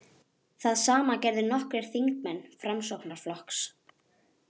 Það sama gerðu nokkrir þingmenn Framsóknarflokks